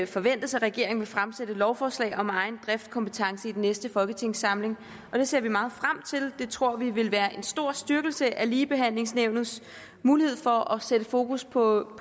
forventes at regeringen vil fremsætte et lovforslag om egen driftkompetence i den næste folketingssamling det ser vi meget frem til det tror vi vil være en stor styrkelse af ligebehandlingsnævnets mulighed for at sætte fokus på